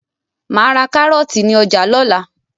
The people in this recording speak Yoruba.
Màá ra kárọ́ọ̀tì ní ọjà lọ́la.